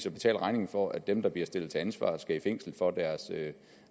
at betale regningen for at dem der bliver stillet til ansvar skal i fængsel for deres